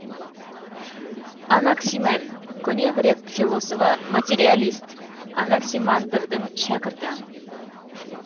анаксимен көне грек философы материалист анаксимандрдің шәкірті